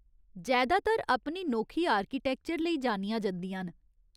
जैदातर अपनी नोखी आर्किटैक्चर लेई जानियां जंदिया न।